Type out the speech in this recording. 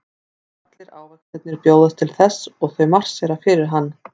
Allir ávextirnir bjóðast til þess og þau marsera fyrir hann.